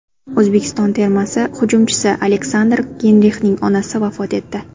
O‘zbekiston termasi hujumchisi Aleksandr Geynrixning onasi vafot etdi.